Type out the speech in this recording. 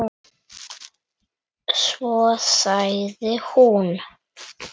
Svo sagði hún